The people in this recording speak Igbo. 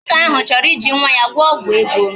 Nwoke ahụ chọrọ iji nwa ya gwọrọ ọgwụ ego